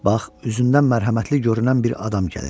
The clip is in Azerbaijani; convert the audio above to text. Bax, üzündən mərhəmətli görünən bir adam gəlir.